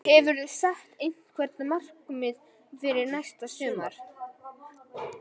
Hefurðu sett einhver markmið fyrir næsta sumar?